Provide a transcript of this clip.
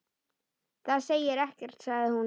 Það segir ekkert sagði hún.